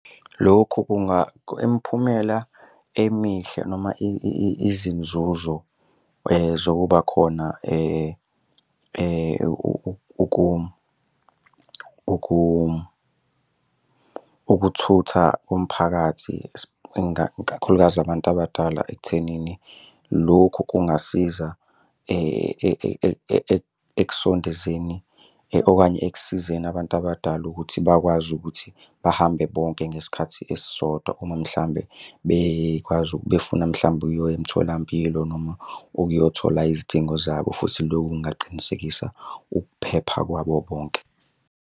Lokhu imiphumela emihle noma izinzuzo zokuba khona ukuthutha umphakathi kakhulukazi abantu abadala ekuthenini lokhu kungasiza okanye ekusizeni abantu abadala ukuthi bakwazi ukuthi bahambe bonke ngesikhathi esisodwa uma mhlawumbe bekwazi befuna mhlawumbe ukuya emtholampilo noma ukuyothola izidingo zabo, futhi loku kungaqinisekisa ukuphepha kwabo bonke.